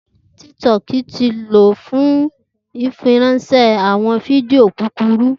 Tik-Tok ti ló fun fifiránsẹ awọn fídíò kúkúrù.